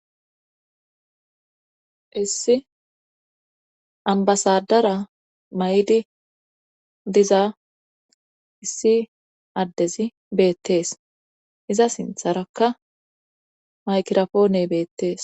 Issi ambasadara may7di diza issi addezi beettees; iza sintharakka maykirafoone beettees.